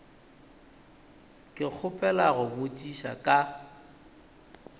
ke kgopela go botši ka